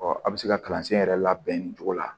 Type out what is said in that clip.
a bɛ se ka kalansen yɛrɛ labɛn nin cogo la